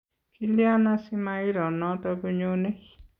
Kilyan asimairo noto konyone?